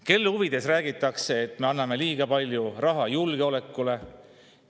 Kelle huvides räägitakse, et me anname liiga palju raha julgeolekule?